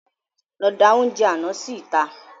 Lọ da oúnjẹ àná sí ìta